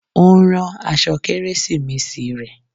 Ó ń rán aṣọ Kérésìmesì rẹ̀.